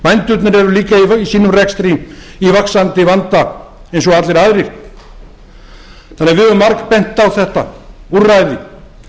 bændurnir eru líka í sínum rekstri í vaxandi vanda eins og allir aðrir þannig að við höfum margbent á þetta úrræði